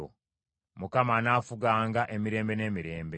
Mukama anaafuganga emirembe n’emirembe.”